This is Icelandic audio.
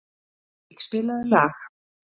Lúðvík, spilaðu lag.